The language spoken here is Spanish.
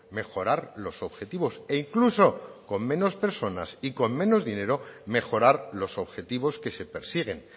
mejorar los objetivos e incluso con menos personas y con menos dinero mejorar los objetivos que se persiguen